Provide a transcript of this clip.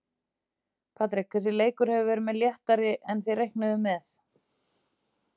Patrik, þessi leikur hefur verið léttari en þið reiknuðuð með?